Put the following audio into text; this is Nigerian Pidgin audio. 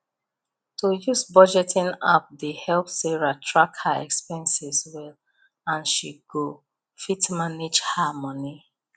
to use budgeting app dey help sarah track her expenses well and she go fit manage her money